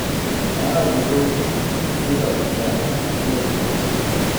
Ena od njegovih nitk bo segala do zemlje, druga do zvezd.